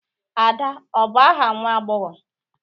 Ada ọ bụ aha nwa agbọghọ?